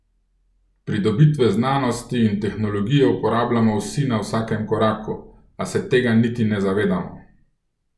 Pridobitve znanosti in tehnologije uporabljamo vsi na vsakem koraku, a se tega niti ne zavedamo.